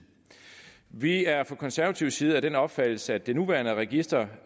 vi er fra konservativ side af den opfattelse at det nuværende register